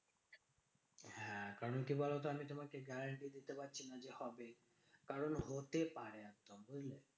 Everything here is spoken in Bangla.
হ্যাঁ কারণ কি বলতো? আমি তোমাকে guarantee দিতে পারছি না যে হবে। কারণ হতে পারে, বুঝলে?